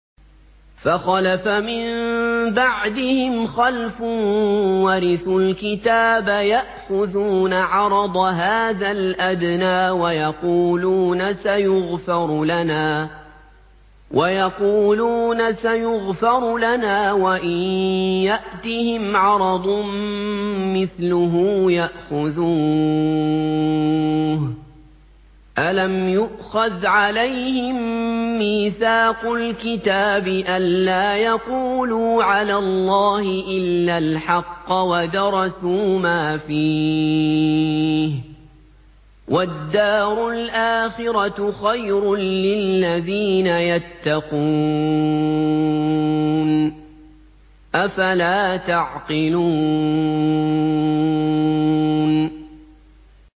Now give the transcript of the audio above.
فَخَلَفَ مِن بَعْدِهِمْ خَلْفٌ وَرِثُوا الْكِتَابَ يَأْخُذُونَ عَرَضَ هَٰذَا الْأَدْنَىٰ وَيَقُولُونَ سَيُغْفَرُ لَنَا وَإِن يَأْتِهِمْ عَرَضٌ مِّثْلُهُ يَأْخُذُوهُ ۚ أَلَمْ يُؤْخَذْ عَلَيْهِم مِّيثَاقُ الْكِتَابِ أَن لَّا يَقُولُوا عَلَى اللَّهِ إِلَّا الْحَقَّ وَدَرَسُوا مَا فِيهِ ۗ وَالدَّارُ الْآخِرَةُ خَيْرٌ لِّلَّذِينَ يَتَّقُونَ ۗ أَفَلَا تَعْقِلُونَ